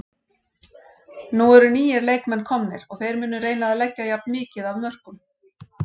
Nú eru nýir leikmenn komnir og þeir munu reyna að leggja jafn mikið af mörkum.